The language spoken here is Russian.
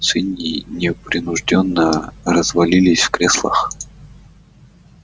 свиньи непринуждённо развалились в креслах